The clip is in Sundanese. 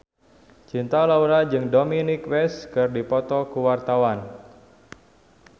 Cinta Laura jeung Dominic West keur dipoto ku wartawan